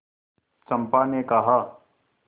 चंपा ने कहा